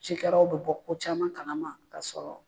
Cikɛlaw bɛ bɔ ko caman kalama k'a sɔrɔ